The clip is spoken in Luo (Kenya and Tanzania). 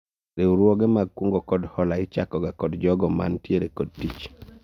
Riwruoge mag kungo kod hola ichako ga kod jogo ma nitiere kod tich